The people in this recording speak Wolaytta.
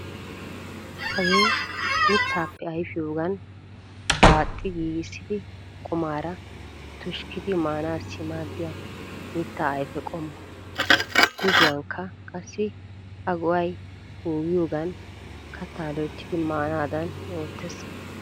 Hagee mittaappe ayfiyogan daaxxi giigissidi qumaara tushkkidi maanaassi maaddiya mitta ayfe qommo. Gujuwankka qassi a go'ay poogiyoogan kattaa loyttidi maanaadan oottees.